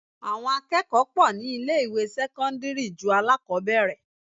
Àwọn akẹ́kọ̀ọ́ pọ̀ ní ilé ìwé sẹ́cọ́ndírì ju alákọbẹ̀rẹ̀.